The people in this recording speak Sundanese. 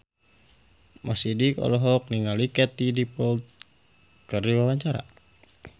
Mo Sidik olohok ningali Katie Dippold keur diwawancara